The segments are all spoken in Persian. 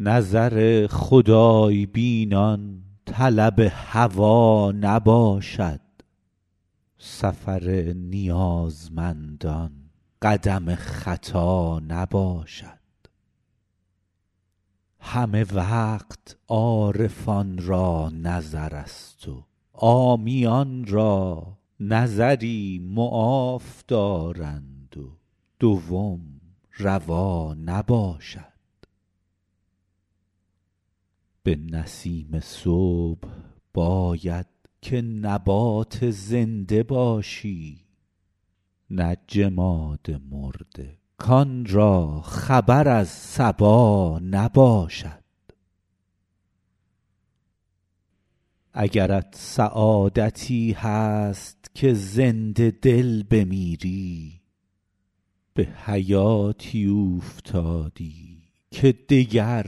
نظر خدای بینان طلب هوا نباشد سفر نیازمندان قدم خطا نباشد همه وقت عارفان را نظرست و عامیان را نظری معاف دارند و دوم روا نباشد به نسیم صبح باید که نبات زنده باشی نه جماد مرده کان را خبر از صبا نباشد اگرت سعادتی هست که زنده دل بمیری به حیاتی اوفتادی که دگر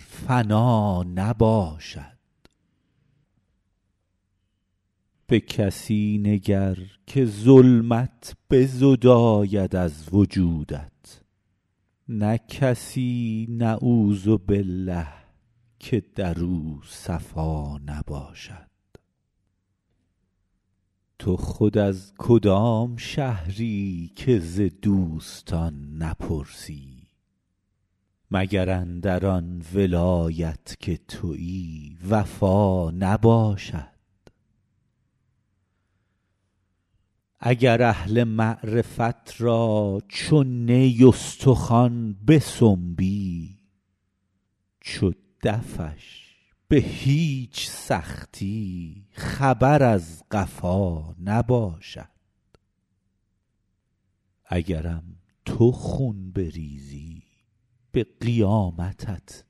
فنا نباشد به کسی نگر که ظلمت بزداید از وجودت نه کسی نعوذبالله که در او صفا نباشد تو خود از کدام شهری که ز دوستان نپرسی مگر اندر آن ولایت که تویی وفا نباشد اگر اهل معرفت را چو نی استخوان بسنبی چو دفش به هیچ سختی خبر از قفا نباشد اگرم تو خون بریزی به قیامتت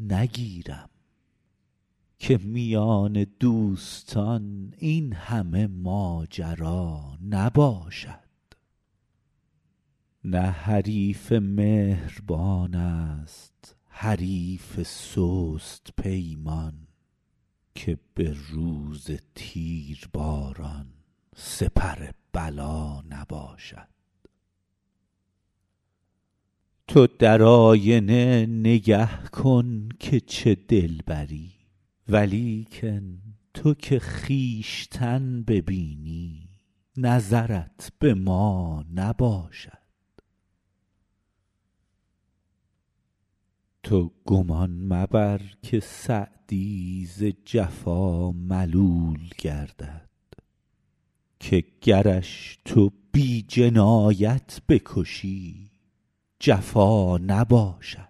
نگیرم که میان دوستان این همه ماجرا نباشد نه حریف مهربان ست حریف سست پیمان که به روز تیرباران سپر بلا نباشد تو در آینه نگه کن که چه دلبری ولیکن تو که خویشتن ببینی نظرت به ما نباشد تو گمان مبر که سعدی ز جفا ملول گردد که گرش تو بی جنایت بکشی جفا نباشد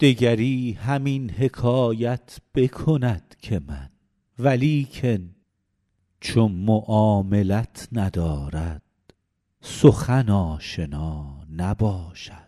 دگری همین حکایت بکند که من ولیکن چو معاملت ندارد سخن آشنا نباشد